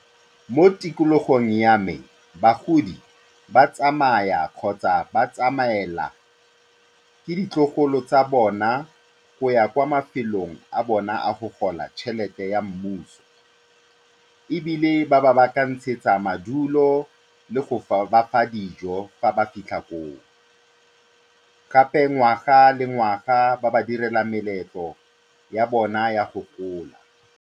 Mo tikologong ya me, bagodi ba tsamaya kgotsa ba tsamaelwa ka ditlogolo tsa bona go ya kwa mafelong a bona a go gola tšhelete ya mmuso. Ebile ba ba baakanyetsa madulo le go ba fa dijo fa ba fitlha koo, gape ngwaga le ngwaga ba ba direla meletlo ya bona ya go gola.